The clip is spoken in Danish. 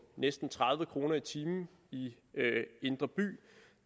næsten tredive kroner i timen i indre by